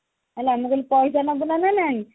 ମୁଁ କହିଲି ପଇସା ନବୁ ନା ନାଇଁ